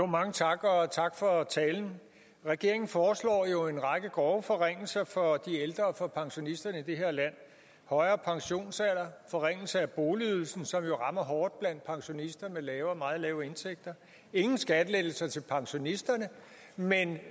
mange tak og tak for talen regeringen foreslår jo en række grove forringelser for de ældre og for pensionisterne i det her land højere pensionsalder forringelse af boligydelsen som jo rammer hårdt blandt pensionister med lave og meget lave indtægter ingen skattelettelser til pensionisterne men